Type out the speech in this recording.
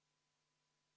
Juhataja vaheaeg 30 minutit.